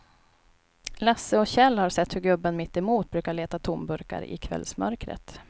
Lasse och Kjell har sett hur gubben mittemot brukar leta tomburkar i kvällsmörkret.